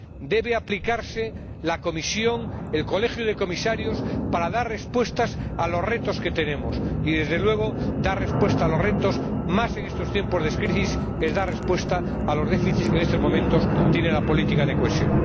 Debe aplicarse la Comisión, el Colegio de Comisarios, para dar respuestas a los retos que tenemos ante nosotros. Y, desde luego, dar respuesta a los retos —más en estos tiempos de crisis— es dar respuesta a los déficits que en estos momentos tiene la política de cohesión.